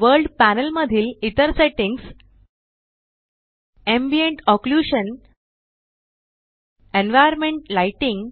world panel मधील इतर settings ambient occlusion environment lighting